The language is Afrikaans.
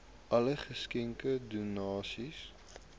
alle geskenke donasies